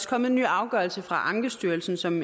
kommet en ny afgørelse fra ankestyrelsen som